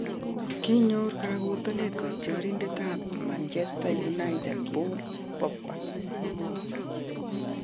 konyor kakotenet katyorindet ab manchester united paul pogba